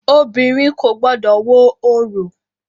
Obìnrin kò gbọdọ̀ wo orò!